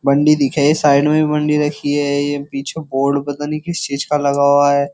बंडी दिखा है ये साइड में भी बंडी रखी है ये पीछे बोर्ड पता नहीं किस चीज का लगा हुआ है।